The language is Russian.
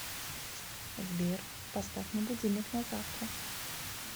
сбер поставь мне будильник на завтра